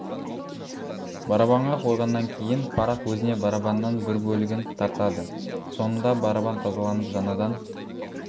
барабанға қойғаннан кейін парақ өзіне барабаннан бір бөлігін тартады соңында барабан тазаланып жаңадан